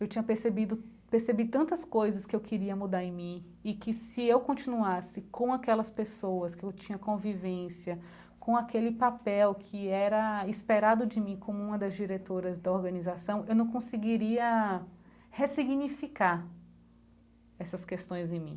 Eu tinha percebido, percebi tantas coisas que eu queria mudar em mim e que se eu continuasse com aquelas pessoas que eu tinha convivência, com aquele papel que era esperado de mim como uma das diretoras da organização, eu não conseguiria ressignificar essas questões em mim.